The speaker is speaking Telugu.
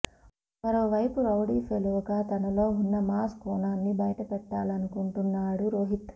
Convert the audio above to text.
మరోవైపు రౌడీ ఫెలోగా తనలో ఉన్న మాస్ కోణాన్ని బయటపెట్టాలనుకొంటున్నాడు రోహిత్